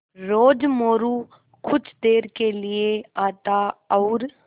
रोज़ मोरू कुछ देर के लिये आता और